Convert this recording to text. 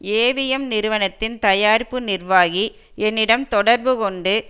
AVM நிறுவனத்தின் தயாரிப்பு நிர்வாகி என்னிடம் தொடர்பு கொண்டு